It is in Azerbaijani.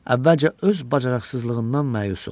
Əvvəlcə öz bacarıqsızlığından məyus oldu.